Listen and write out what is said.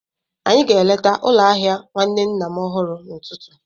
Anyị ga-eleta ụlọ ahịa nwanne nna m ọhụrụ n'ụtụtụ.